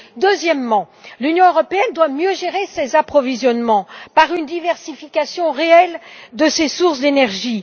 Deuxièmement, l'Union européenne doit mieux gérer ses approvisionnements par une diversification réelle de ses sources d'énergie.